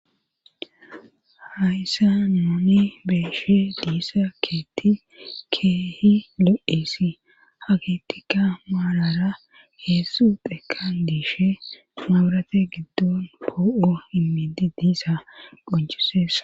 hayssa nuni beeshe diissa keetti keehi lo7esi hakettika maalara heessu dheekan diishe mabrate giddon poo7o inmidi diisa qonchisessa